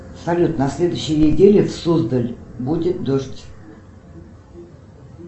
салют на следующей неделе в суздали будет дождь